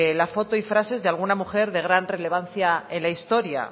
la foto y frases de alguna mujer de gran relevancia en la historia